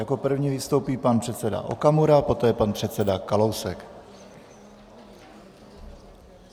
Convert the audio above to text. Jako první vystoupí pan předseda Okamura, poté pan předseda Kalousek.